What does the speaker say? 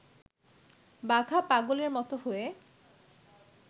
বাঘা পাগলের মত হয়ে